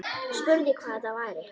Spurði hvað þetta væri.